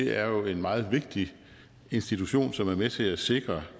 er jo en meget vigtig institution som er med til at sikre